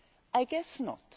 I guess not.